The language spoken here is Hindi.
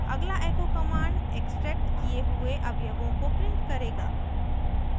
अगला echo command extracted किये हुए अवयवों को print करेगा